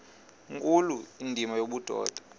nkulu indima yobudoda